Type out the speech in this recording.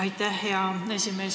Aitäh, hea esimees!